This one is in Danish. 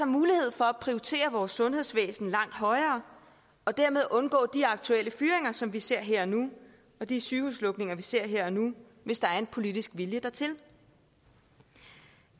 mulighed for at prioritere vores sundhedsvæsen langt højere og dermed undgå de aktuelle fyringer som vi ser her og nu og de sygehuslukninger vi ser her og nu hvis der er en politisk vilje dertil